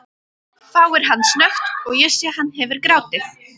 hváir hann snöggt og ég sé hann hefur grátið.